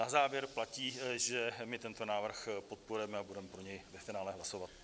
Na závěr platí, že my tento návrh podporujeme a budeme pro něj ve finále hlasovat.